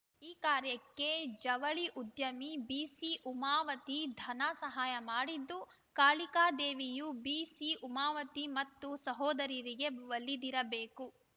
ಈ ಕಾರ್ಯಕ್ಕೆ ಜವಳಿ ಉದ್ಯಮಿ ಬಿಸಿಉಮಾಪತಿ ಧನ ಸಹಾಯ ಮಾಡಿದ್ದು ಕಾಳಿಕಾದೇವಿಯೂ ಬಿಸಿಉಮಾಪತಿ ಮತ್ತು ಸಹೋದರರಿಗೇ ಒಲಿದಿರಬೇಕು